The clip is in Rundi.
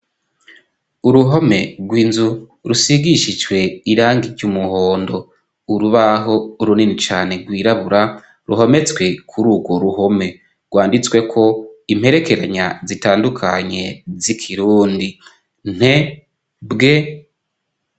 Uruhome rw'inzu rusigishijwe irangi ry'umuhondo. Urubaho runini cane rwirabura ruhometswe kuri urwo ruhome rwanditswe ko imperekeranya zitandukanye z'ikirundi nte, bwe.